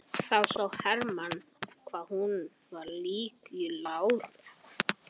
Þá sá Hermann hvað hún var lík láru.